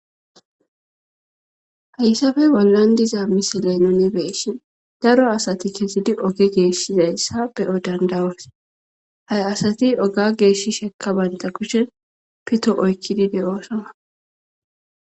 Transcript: Hayssafe bollan diza misileno ne beeshin daro asati kezidi oge geeshshizayssa beyo dandawas ha asati oga geeshi shekka baynta kushen pito oykkidide oosona